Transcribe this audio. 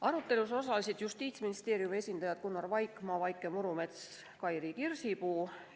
Arutelul osalesid Justiitsministeeriumi esindajad Gunnar Vaikmaa, Vaike Murumets ja Kairit Kirsipuu.